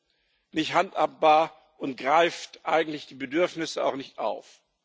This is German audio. Das ist nicht handhabbar und greift eigentlich die Bedürfnisse auch nicht auf.